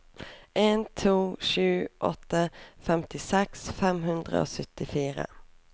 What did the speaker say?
en to sju åtte femtiseks fem hundre og syttifire